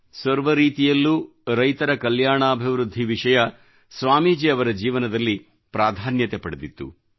ಸರ್ವ ರೀತಿಯಲ್ಲೂ ರೈತರ ಕಲ್ಯಾಣಾಭಿವೃದ್ಧಿ ವಿಷಯ ಸ್ವಾಮೀಜಿ ಅವರ ಜೀವನದಲ್ಲಿ ಪ್ರಾಧಾನ್ಯತೆ ಪಡೆದಿತ್ತು